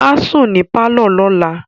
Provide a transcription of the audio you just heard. Á sùn ní pálọ̀ lọ́la